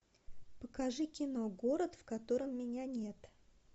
покажи кино город в котором меня нет